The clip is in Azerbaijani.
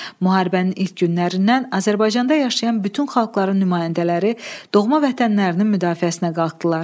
Müharibənin ilk günlərindən Azərbaycanda yaşayan bütün xalqların nümayəndələri doğma vətənlərinin müdafiəsinə qalxdılar.